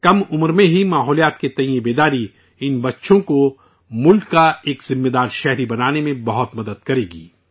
کم عمر میں ہی ماحولیات کے تئیں یہ بیداری، ان بچوں کو ملک کا ایک فرض شناس شہری بنانے میں بہت مدد کرے گی